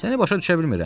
Səni başa düşə bilmirəm.